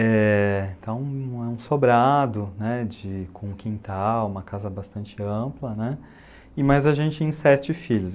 É então, é um sobrado, né de, com um quintal, uma casa bastante ampla, e mais a gente em sete filhos.